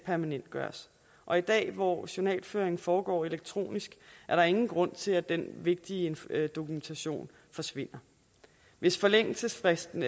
permanentgøres og i dag hvor journalføring foregår elektronisk er der ingen grund til at den vigtige dokumentation forsvinder hvis forældelsesfristen